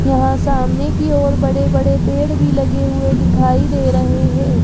यहां सामने की ओर बड़े बड़े पेड़ भी लगे हुए दिखाई दे रहे हैं।